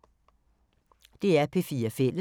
DR P4 Fælles